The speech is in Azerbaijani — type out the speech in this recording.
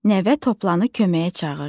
Nəvə toplanı köməyə çağırdı.